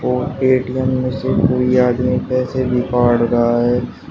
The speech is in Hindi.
और ए_टी_एम में से कोई आदमी पैसे भी काढ़ रहा है।